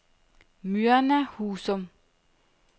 Myrna Husum